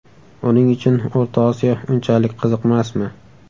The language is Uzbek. Uning uchun O‘rta Osiyo unchalik qiziqmasmi?